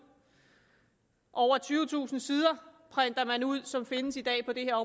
over tyvetusind sider som findes i dag på det her